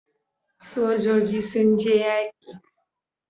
Sojoji sun je yaƙi